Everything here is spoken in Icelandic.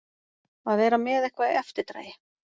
Að vera með eitthvað í eftirdragi